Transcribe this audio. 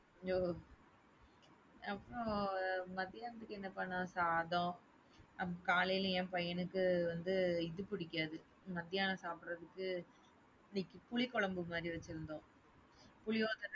ஓஹ அப்புறம் மத்தியானத்துக்கு என்ன பண்ணோம்? சாதம். காலைல என் பையனுக்கு வந்து இது பிடிக்காது. மத்தியானம் சாப்டுறதுக்கு இன்னிக்கு புளி குழம்பு மாரி வச்சுருந்தோம். புளியோதரை.